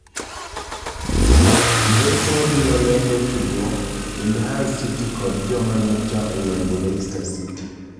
Ngeso wabirolendo tugo kind Hull City kod joma nyocha oyombo Leicester City.